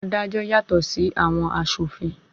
Àwọn adájọ́ yàtọ̀ sí àwọn aṣòfin.